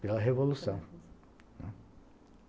Pela Revolução.